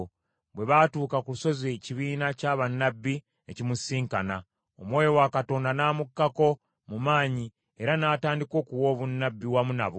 Bwe baatuuka ku lusozi ekibiina kya bannabbi ne kimusisinkana, Omwoyo wa Katonda n’amukkako mu maanyi era n’atandika okuwa obunnabbi wamu nabo.